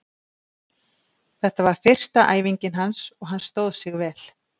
Þetta var fyrsta æfingin hans og hann stóð sig vel.